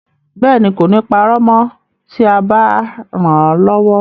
Bẹ́ẹ̀ ni, kò ní parọ́ mọ́ tí ẹ bá ràn án lọ́wọ́.